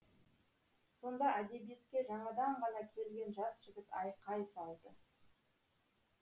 сонда әдебиетке жаңадан ғана келген жас жігіт айқай салды